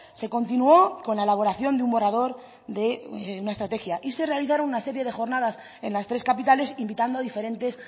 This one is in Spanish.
se continuó con la elaboración de un borrador de una estrategia y se realizaron una serie de jornadas en las tres capitales invitando a diferentes